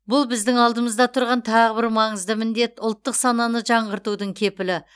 бұл біздің алдымызда тұрған тағы бір маңызды міндет ұлттық сананы жаңғыртудың кепілі